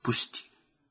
"Burax!"